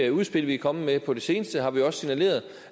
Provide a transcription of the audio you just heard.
udspil vi er kommet med på det seneste har vi også signaleret